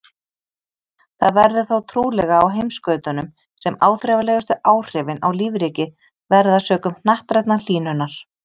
Það verður þó trúlega á heimskautunum sem áþreifanlegustu áhrifin á lífríkið verða sökum hnattrænnar hlýnunar.